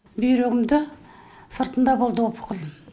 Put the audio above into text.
бүйрегімді сыртында болды опухолім